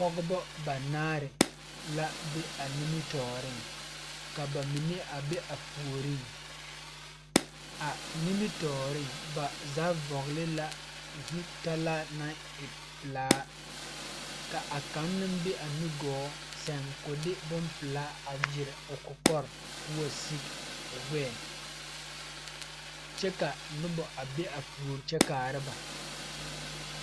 Pɔgebɔ banaare la be a nimitooreŋ ka ba mine a be a puoriŋ a nimitooreŋ ba kaŋa vɔgle la zutalaa naŋ e pelaa ka a kaŋ naŋ be a nugɔɔ sɛŋ ko de bonpelaa a gyire o kɔkɔre ko wa sige l gbɛɛ kyɛ ka nobɔ a be a puore kyɛ kaara ba.